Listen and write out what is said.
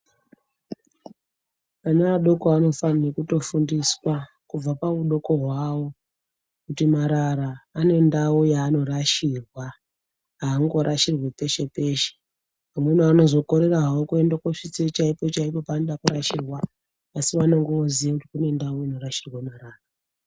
Vana vadoko vanofana kutofundiswa kubva pahudoko hwawo kuti marara ane ndau yanorashirwa angorashirwi peshe peshe vamweni vanozokorera havo kuda kungosvitsa peshe peshe panoda kurashirwa vanenge voziva kuti kune ndau inorashirwa marara.